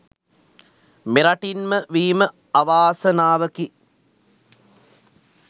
මෙරටින් ම වීම අවාසනාවකි.